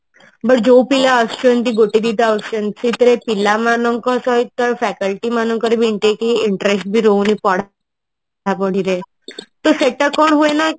but ଯୋଉ ପିଲା ଆସୁଛନ୍ତି ଗୋଟେ ଦିଟା ଆସୁଛନ୍ତି ସେଇଥିରେ ପିଲାମାନଙ୍କ ସହିତ faculty ମାନଙ୍କର ବି ଏମତି କି interest ବି ରହୁନି ପଢାପଢିରେ ତ ସେଟା କଣ ହୁଏ ନା